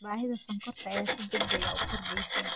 Baahida sonkorta ayaa si degdeg ah u kordheysa.